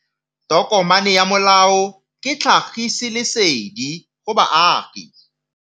Tokomane ya molao ke tlhagisi lesedi go baagi.